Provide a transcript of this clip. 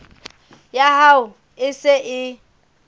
ya hao e se e